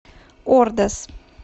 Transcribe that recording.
ордос